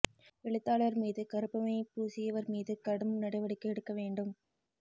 எழுத்தாளா் மீது கருப்பு மை பூசியவா் மீது கடும் நடவடிக்கை எடுக்க வேண்டும்